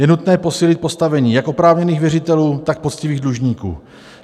Je nutné posílit postavení jak oprávněných věřitelů, tak poctivých dlužníků.